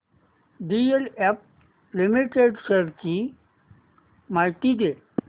DLF limited shares ची माहिती दे